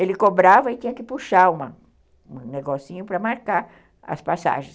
Ele cobrava e tinha que puxar um negocinho para marcar as passagens.